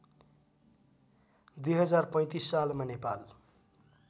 २०३५ सालमा नेपाल